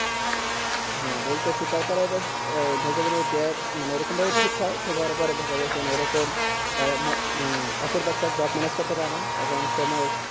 হ্যাঁ বোলতাসি তার পরে আবার ও jobe মানে এরকম ওই রকম অপূর্ব একটা jobe manage করতে পারে না এবং সে